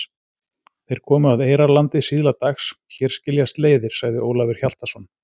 Þeir komu að Eyrarlandi síðla dags.-Hér skiljast leiðir, sagði Ólafur Hjaltason.